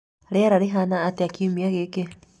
Rĩera rĩhana atĩa kiumia gĩkĩ?